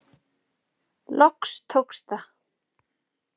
Loks tókst það.